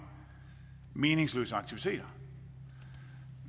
meningsløse aktiviteter